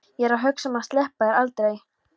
Ég er að hugsa um að sleppa þér aldrei.